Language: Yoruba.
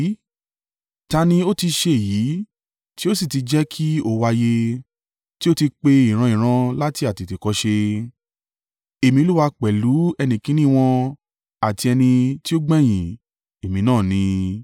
Ta ni ó ti ṣe èyí tí ó sì ti jẹ́ kí ó wáyé, tí ó ti pe ìran-ìran láti àtètèkọ́ṣe? Èmi Olúwa pẹ̀lú ẹni kìn-ín-ní wọn àti ẹni tí ó gbẹ̀yìn, Èmi náà ni.”